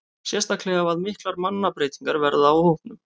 Sérstaklega ef að miklar mannabreytingar verða á hópnum.